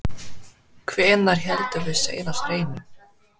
Hvenær héldum við síðast hreinu?